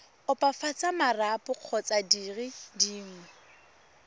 opafatsa marapo kgotsa dire dingwe